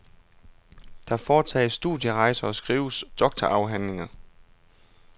Der foretages studierejser og skrives doktorafhandlinger.